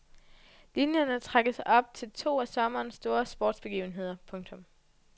Linjerne trækkes op til to af sommerens store sportsbegivenheder. punktum